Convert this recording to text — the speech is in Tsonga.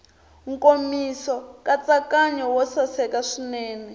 nkomiso nkatsakanyo wo saseka swinene